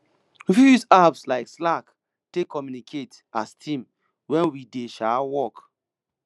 we fit use apps like slack take communicate as team when we dey um work